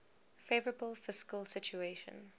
favourable fiscal situation